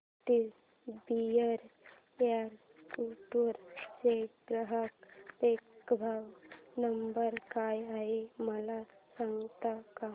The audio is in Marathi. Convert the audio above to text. एसबीआय गुंटूर चा ग्राहक देखभाल नंबर काय आहे मला सांगता का